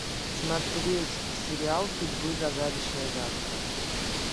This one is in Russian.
смотреть сериал судьбы загадочное завтра